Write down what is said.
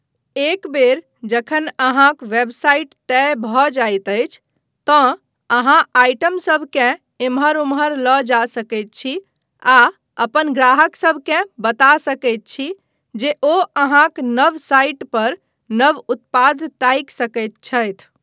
एक बेर जखन अहाँक वेबसाइट तय भऽ जाइत अछि तँ अहाँ आइटम सभकेँ एम्हर ओम्हर लऽ जा सकैत छी आ अपन ग्राहकसभकेँ बता सकैत छी जे ओ अहाँक नव साइट पर नव उत्पाद ताकि सकैत छथि।